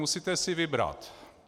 Musíte si vybrat.